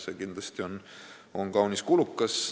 See on kindlasti kaunis kulukas.